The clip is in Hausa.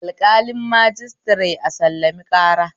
Alƙalin majistire a sallami ƙara